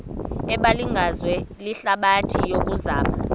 ebingaziwa lihlabathi yokuzama